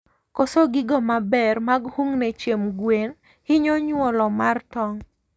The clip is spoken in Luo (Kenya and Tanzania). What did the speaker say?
Koso gigo maber mag hungne chiemb gwen hinyo nyuolo mag tong